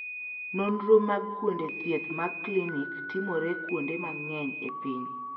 Nonro mag kuonde thieth mag klinik timore kuonde mang'eny e piny.